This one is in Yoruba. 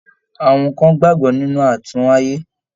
Àwọn kàn gbagbọ nínú atúnwáyé.